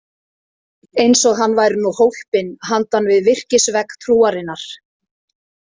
Eins og hann væri nú hólpinn handan við virkisvegg trúarinnar.